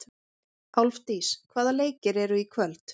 Álfdís, hvaða leikir eru í kvöld?